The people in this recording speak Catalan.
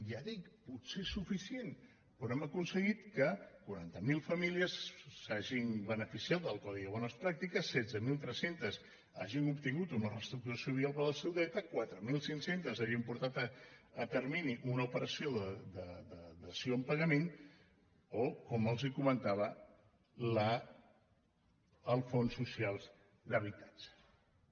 ja ho dic potser insuficient però hem aconseguit que quaranta miler famílies s’hagin beneficiat del codi de bones pràctiques setze mil tres cents hagin obtingut una reestructuració via el pla de solida ritat quatre mil cinc cents hagin portat a terme una operació de dació en pagament o com els comentava els fons socials d’habitatges